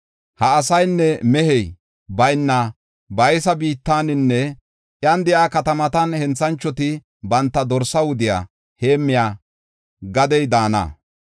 “Ha asaynne mehey bayna baysa biittaninne iyan de7iya katamatan henthanchoti banta dorsa wudiya heemmiya gadey daana.